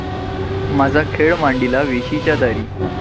माझा खेळ मांडीला वेशीच्या दारी